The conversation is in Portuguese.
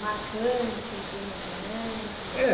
Marcantes, emocionantes? É